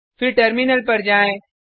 फिर टर्मिनल पर जाएँ